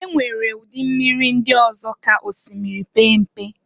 E nwere ụdị mmiri ndị ọzọ ka osimiri pee mpe.